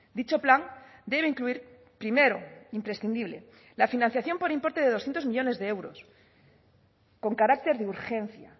dicho plan debe incluir primero imprescindible la financiación por importe de doscientos millónes de euros con carácter de urgencia